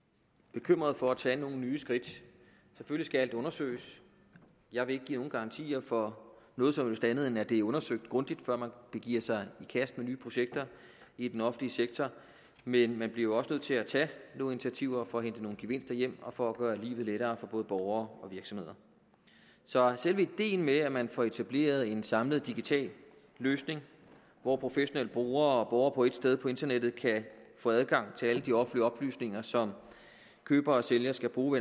bekymret for at tage nogle nye skridt selvfølgelig skal alt undersøges jeg vil ikke give nogen garantier for noget som helst andet end at det bliver undersøgt grundigt før man giver sig i kast nye projekter i den offentlige sektor men man bliver også nødt til at tage nogle initiativer for at hente nogle gevinster hjem og for at gøre livet lettere for både borgere og virksomheder så selve ideen med at man får etableret en samlet digital løsning hvor professionelle brugere og borgere på ét sted på internettet kan få adgang til alle de offentlige oplysninger som køber og sælger skal bruge